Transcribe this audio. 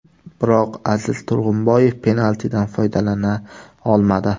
Biroq Aziz Turg‘unboyev penaltidan foydalana olmadi.